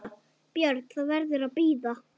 BJÖRN: Það verður að bíða.